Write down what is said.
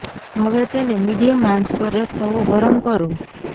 હવે તેને મીડિયમ આંચ પર એક તવો ગરમ કરો